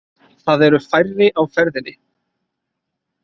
Það eru færri á ferðinni